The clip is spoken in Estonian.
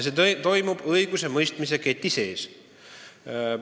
See toimub õigusemõistmise keti sees.